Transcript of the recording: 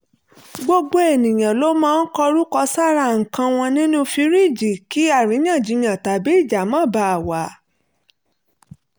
gbogbo ènìyàn ló máa ń kọrúkọ sára nǹkan wọn nínú fìríìjì kí àríyànjiyàn tabí ìjà má baà wà